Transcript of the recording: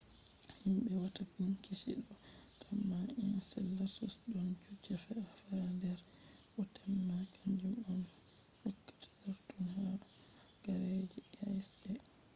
himbe watta binchike do tamma enceladus don kujeji fe’ata ha der bo temma kanjum on hokkata saturn halagare je icy e